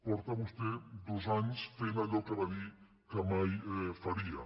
fa vostè dos anys que fa allò que va dir que mai faria